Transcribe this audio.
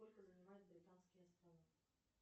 сколько занимают британские острова